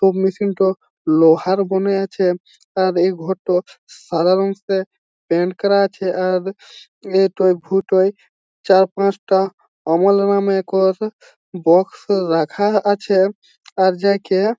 সব মেশিন -টো লোহার বোনে আছে | আর এই ঘরটো সাদা রঙে পেইন্টস করা আছে | আর ঐটায় দুটা চার পাঁচটা বক্সও রাখা আছে | আর যে কে--